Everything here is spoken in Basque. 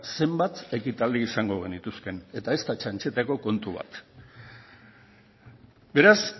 zenbat ekitaldi izango genituzkeen eta ez da txantxetako kontu bat beraz